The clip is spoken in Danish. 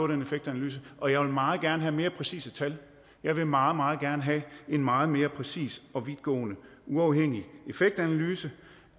den effektanalyse og jeg vil meget gerne have mere præcise tal jeg vil meget meget gerne have en meget mere præcis og vidtgående uafhængig effektanalyse